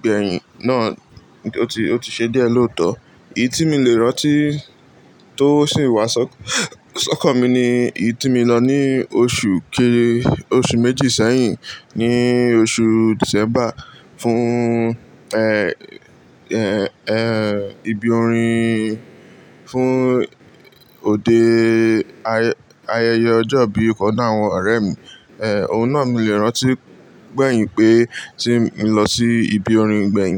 gbẹ̀yìn náà ó ti, ó ti ṣe díẹ̀ lóòótọ́. Èyí tí mi lè rántí tó sì wá si okan mi ni èyí tí mi lọ ní oṣù kéré, oṣù méjì sẹ́yìn ní oṣù Dìsẹ́mbà fún ibi orin fún òde ayẹyẹ ọjọ́ ìbí ọ̀kan àwọn ọ̀rẹ́ mi. Ohun náà mi lè rántí gbẹ̀yìn pé tí mo lọ sí ibi orin gbẹ̀yìn.